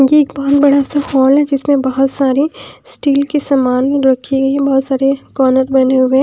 ये एक बहोत बड़ा सा हॉल है जिसमें बहोत सारी स्टील के समान रखी गई है बहोत सारे कॉर्नर बने हुए--